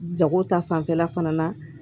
Jago ta fanfɛla fana na